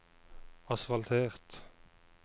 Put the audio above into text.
asfaltert